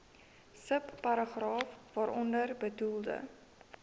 subparagraaf waaronder bedoelde